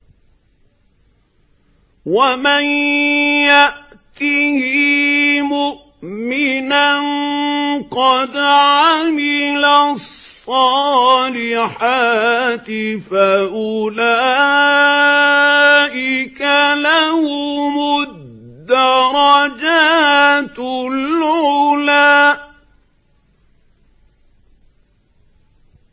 وَمَن يَأْتِهِ مُؤْمِنًا قَدْ عَمِلَ الصَّالِحَاتِ فَأُولَٰئِكَ لَهُمُ الدَّرَجَاتُ الْعُلَىٰ